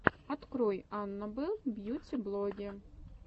открой анна белл бьюти блогге